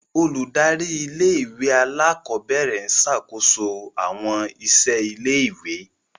Óludari ìlé-ìwé àlàkọbẹrẹ ń ṣakoso awọn iṣẹ ìlé-ìwé.